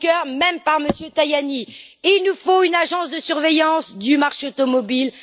Juncker, même par M. Tajani il nous faut une agence de surveillance du marché automobile.